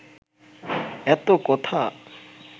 এত কথা